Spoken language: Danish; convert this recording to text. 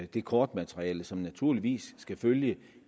det kortmateriale som naturligvis skal følge